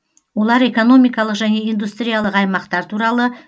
олар экономикалық және индустриялық аймақтар туралы